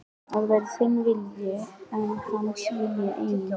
Að verði þinn vilji, var hans vilji einnig.